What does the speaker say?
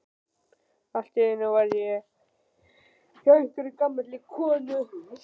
Allt í einu var ég hjá einhverri gamalli konu.